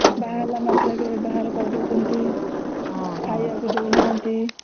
ବାହା ହେଲା ମାତ୍ରେ ବାହାର କରି ଡାଉଛନ୍ତି ଖାଇବାକୁ ଦଉ ନାହାଂତି ହୁଁ